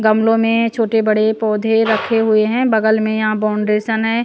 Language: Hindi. गमलों में छोटे बड़े पौधे रखे हुए हैं बगल में यहाँ बौंड्रेशन है।